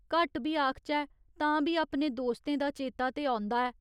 घट्ट बी आखचै तां बी अपने दोस्तें दा चेता ते औंदा ऐ।